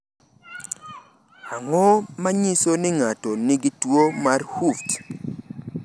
Ang’o ma nyiso ni ng’ato nigi tuwo mar Hooft?